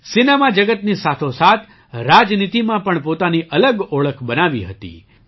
એ cinema જગતની સાથોસાથ રાજનીતિમાં પણ પોતાની અલગ ઓળખ બનાવી હતી